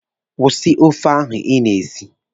Kwụsị ofe ahụ Ị na-esi!